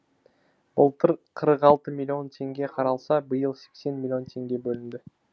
былтыр қырық алты миллион теңге қаралса биыл сексен миллион теңге бөлінді